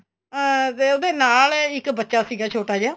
ਅਹ ਵੇ ਉਹਦੇ ਨਾਲ ਇੱਕ ਬੱਚਾ ਸੀਗਾ ਛੋਟਾ ਜਾ